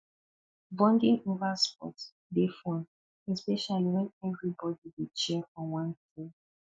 bonding over sports dey fun especially when everybody dey cheer for one team